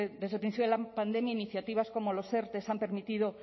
desde el principio de la pandemia iniciativas como los erte han permitido